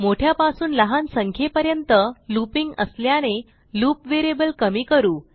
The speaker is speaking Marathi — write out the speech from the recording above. मोठ्यापासून लहान संख्येपर्यंत लूपिंग असल्याने लूप व्हेरिएबल कमी करू